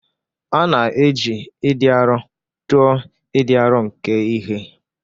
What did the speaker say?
A na-eji ịdị arọ tụọ ịdị arọ nke ihe.